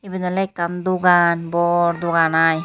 Iben Olay ekkan dogaan bor dogaan aai.